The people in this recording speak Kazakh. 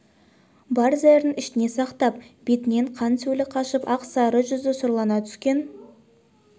бар зәрін ішіне сақтап бетінен қан-сөлі қашып ақ сары жүзі сұрлана түскен